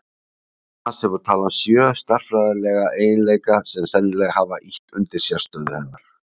Annars hefur talan sjö stærðfræðilega eiginleika sem sennilega hafa ýtt undir sérstöðu hennar.